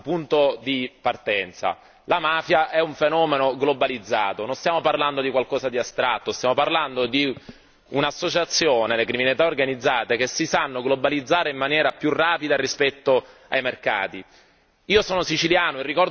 Noi dobbiamo partire da un punto di partenza, la mafia è un fenomeno globalizzato, non stiamo parlando di qualcosa di astratto, stiamo parlando di associazioni, la criminalità organizzata, che si sanno globalizzare in maniera più rapida rispetto ai mercati.